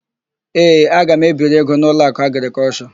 Ee, aga m ebiri ego n'Ụlọakụ Agrịkọlshọ.